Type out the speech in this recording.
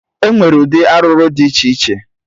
Enwere ụdị arụrụ dị iche iche